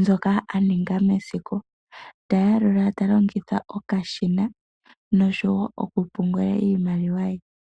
ndjoka alonga mesiku ,tayalula talongitha okashina noshowo okupungula iimaliwa ye.